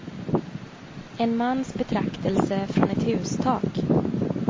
En mans betraktelse från ett hustak.